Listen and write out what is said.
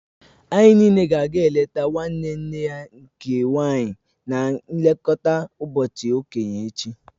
Anyị niile ga-aga eleta nwanne nne ya nke nwaanyị na nlekọta ụbọchị okenye echi